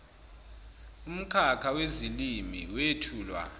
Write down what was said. umkhakha wezilimi wethulwa